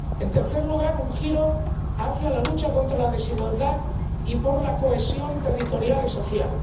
En tercer lugar, un giro hacia la lucha contra la desigualdad y por la cohesión territorial y social.